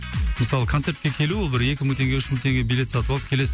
мысалы концертке келу ол бір екі мың теңге үш мың теңге билет сатып алып келесің